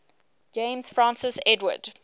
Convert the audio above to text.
james francis edward